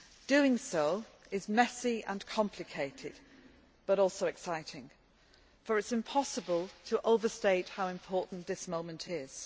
Doing so is messy and complicated but also exciting, for it is impossible to overstate how important this moment is.